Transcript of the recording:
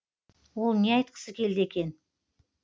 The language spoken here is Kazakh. ол не айтқысы келді екен